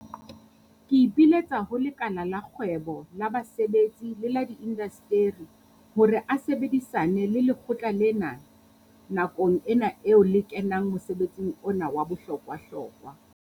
Ke ipiletsa ho lekala la kgwebo, la basebetsi le la diinasteri hore a sebedisane le lekgotla lena nakong ena eo le kenang mosebetsing ona wa bohlokwahlokwa.